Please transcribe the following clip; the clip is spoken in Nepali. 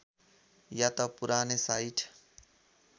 या त पुरानै साइट